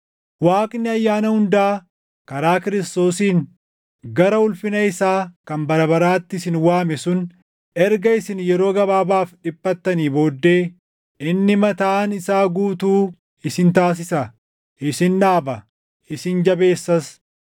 Waaqni ayyaana hundaa karaa Kiristoosiin gara ulfina isaa kan bara baraatti isin waame sun erga isin yeroo gabaabaaf dhiphattanii booddee inni mataan isaa guutuu isin taasisa; isin dhaaba; isin jabeessas.